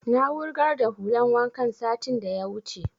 Na wurgar da hulan wankan satin da ya wuce